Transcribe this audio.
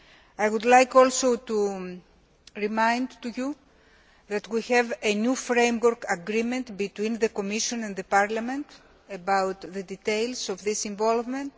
I would also like to remind you that we have a new framework agreement between the Commission and the Parliament on the details of this involvement.